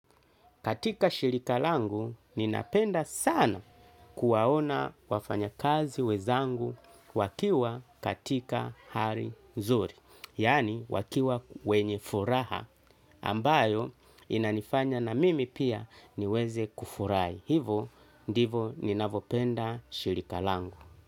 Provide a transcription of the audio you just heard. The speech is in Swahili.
Katika shirika langu ninapenda sana kuwaona wafanya kazi wenzangu wakiwa katika hali nzuri. Yani wakiwa wenye furaha ambayo inanifanya na mimi pia niweze kufurahi. Hivo ndivo ninavopenda shirika langu.